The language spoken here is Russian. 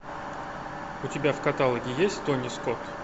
у тебя в каталоге есть тони скотт